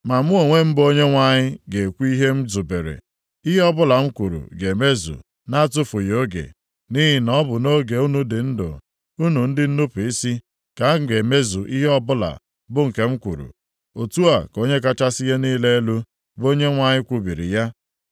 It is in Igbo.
Ma mụ onwe m bụ Onyenwe anyị ga-ekwu ihe m zubere. Ihe ọbụla m kwuru ga-emezu na-atụfughị oge. Nʼihi na ọ bụ nʼoge unu dị ndụ, unu ndị nnupu isi, ka m ga-emezu ihe ọbụla bụ nke m kwuru. Otu a ka Onye kachasị ihe niile elu, bụ Onyenwe anyị kwubiri ya.’ ”